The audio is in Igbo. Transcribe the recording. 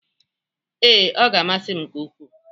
Ee, ọ ga-amasị m nke ukwu.